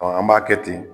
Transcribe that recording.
an b'a kɛ ten